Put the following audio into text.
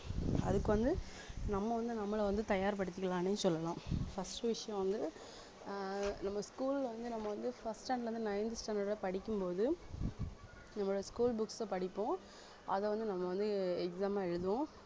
அதுக்கு வந்து நம்ம வந்து நம்மள வந்து தயார்படுத்திக்கலான்னு சொல்லலாம் first விஷயம் வந்து ஆஹ் நம்ம school ல வந்து நம்ம வந்து first standard ல இருந்து ninth standard அ படிக்கும் போது நம்மளோட school books அ படிப்போம் அத வந்து நம்ம வந்து exam ஆ எழுதுவோம்